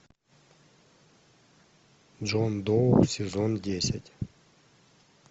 джон доу сезон десять